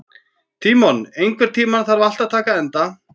Tímon, einhvern tímann þarf allt að taka enda.